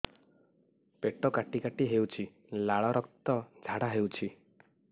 ପେଟ କାଟି କାଟି ହେଉଛି ଲାଳ ରକ୍ତ ଝାଡା ହେଉଛି